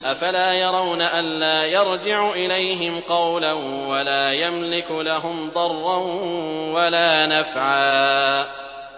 أَفَلَا يَرَوْنَ أَلَّا يَرْجِعُ إِلَيْهِمْ قَوْلًا وَلَا يَمْلِكُ لَهُمْ ضَرًّا وَلَا نَفْعًا